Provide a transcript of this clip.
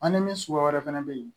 An ni min suguya wɛrɛ fɛnɛ be yen